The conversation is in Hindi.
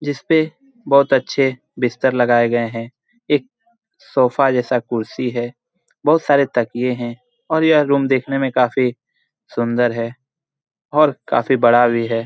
जिसपे बहोत अच्छे बिस्तर लगाये गए है । एक सोफा जैसा कुर्सी है । बहुत सारे तकिये हैं और यह रूम देखने में काफी सुंदर है और काफी बड़ा भी है ।